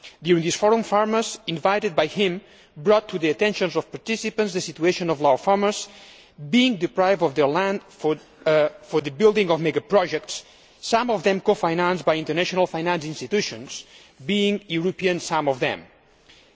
During this forum farmers invited by him brought to the attention of participants the situation of Lao farmers being deprived of their land for the building of mega projects, some of them cofinanced by international financial institutions, some of them European.